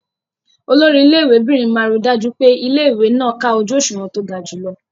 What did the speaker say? Olori ilé ìwé'bìnrin máa ríi dájú pé ilé-ìwé náà ká ojú òṣùwọ̀n tó ga jùlọ.